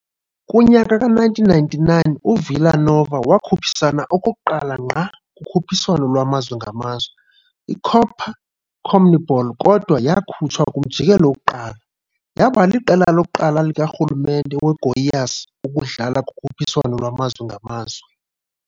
Kunyaka ka1999, uVila Nova wakhuphisana okokuqala ngqa kukhuphiswano lwamazwe ngamazwe, iCopa CONMEBOL kodwa yakhutshwa kumjikelo wokuqala, yaba liqela lokuqala likarhulumente weGoiás ukudlala kukhuphiswano lwamazwe ngamazwe.